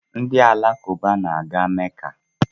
Ndị Alakụba na-aga Mecca